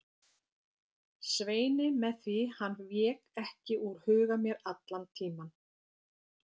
Sveini með því hann vék ekki úr huga mér allan tímann.